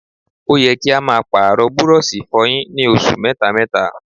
Ó yẹ kí a máa Pààrọ̀ burọ̀ṣì ìfọyín ní oṣù mẹ́ta mẹ́ta